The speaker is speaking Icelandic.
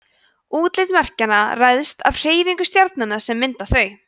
útlit merkjanna ræðst af hreyfingum stjarnanna sem mynda þau